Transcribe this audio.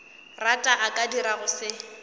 rata a ka dirago se